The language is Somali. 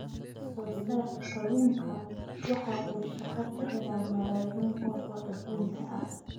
Wax soo saarka kalluunka waxa uu shaqo ka helaa malaayiin qof oo adduunka ah.